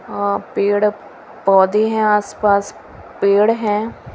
अ पेड़ पौधे हैं आसपास पेड़ हैं।